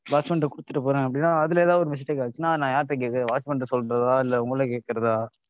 watchman ட்ட குடுத்துட்டு போறேன் அப்படின்னா அதுல ஏதாவது ஒரு mistake ஆச்சுன்னா நான் யார்ட்ட கேக்கிறது? watchman ட்ட சொல்றதா இல்ல உங்கள கேட்கிறதா?